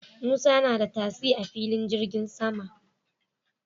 Musa na da tasi a filin jirgin sama